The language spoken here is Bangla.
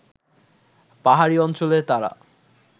পাহাড়ি অঞ্চলে তারা